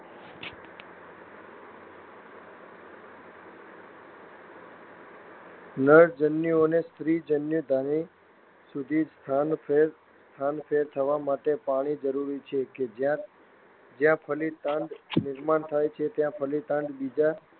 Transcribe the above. નરજન્યુઓને સ્ત્રીજન્યુધાની સુધી સ્થાનફેર થવા માટે પાણી જરૂરી છે કે જ્યાં ફલિતાંડનું નિર્માણ થાય છે.